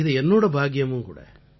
இது என்னோட பாக்கியமும்கூட